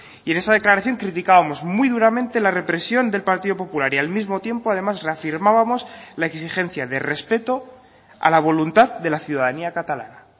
y en esa declaración criticábamos muy duramente la represión del partido popular y al mismo tiempo además reafirmábamos la exigencia de respeto a la voluntad de la ciudadanía catalana